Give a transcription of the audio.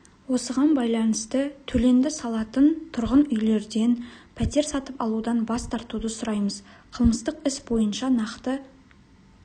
осыған байланысты төленді салатын тұрғын үйлерден пәтер сатып алудан бас тартуды сұраймыз қылмыстық іс бойынша нақты